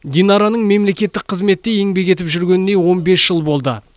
динараның мемлекеттік қызметте еңбек етіп жүргеніне он бес жыл болды